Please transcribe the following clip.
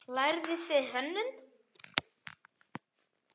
Lærðuð þið hönnun?